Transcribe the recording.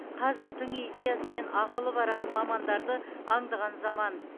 қазір тың идеясы мен ақылы бар мамандарды аңдыған заман